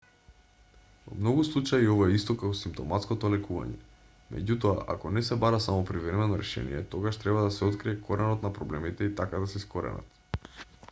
во многу случаи ова е исто како симптоматското лекување меѓутоа ако не се бара само привремено решение тогаш треба да се открие коренот на проблемите и така да се искоренат